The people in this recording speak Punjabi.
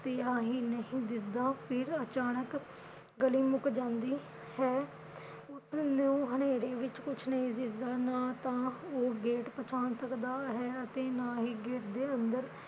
ਪਿਆ ਹੀ ਨਹੀਂ ਦਿਸਦਾ। ਫਿਰ ਅਚਾਨਕ ਗਲੀ ਮੁਕ ਜਾਂਦੀ ਹੈ, ਉਸਨੂੰ ਹਨੇਰੇ ਵਿਚ ਕੁਛ ਨਹੀ ਦਿਸਦਾ ਨਾ ਤਾਂ ਉਹ gate ਪਛਾਣ ਸਕਦਾ ਹੈ ਤੇ ਨਾ ਹੀ gate ਦੇ ਅੰਦਰ